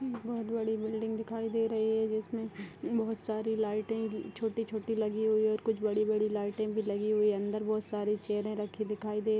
बहुत बड़ी बिल्डिंग दिखाई दे रही है जिसमें बहुत सारी लाइटें छोटी छोटी लगी हुई है और कुछ बड़ी बड़ी लाइटें लगी हुई है अंदर बहुत सारी चेयरे रखी दिखाई--